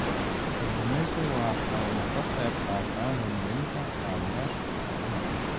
Kalluumaysigu waxa uu ka qayb qaataa horumarinta kaabayaasha dhaqaalaha.